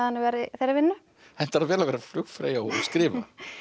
þeirri vinnu hentar það vel að vera flugfreyja og að skrifa